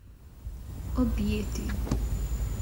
Objeti.